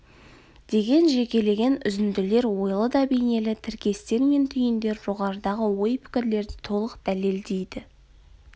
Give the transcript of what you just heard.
деген жекелеген үзінділер ойлы да бейнелі тіркестер мен түйіндер жоғарыдағы ой-пікірлерді толық дәлелдейді